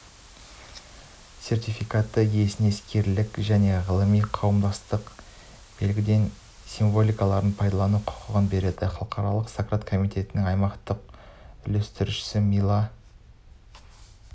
сертификаты иесіне іскерлік және ғылыми қауымдастық белгілеген символикаларды пайдалану құқығын береді халықаралық сократ комитетініңаймақтық үйлестірушісі мила